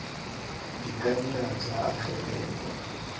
di ka nna tsa agelelwa